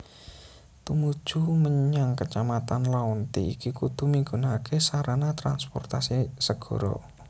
Tumuju mmenyang kecamatan Laonti iki kudu migunakaké sarana transportasi segara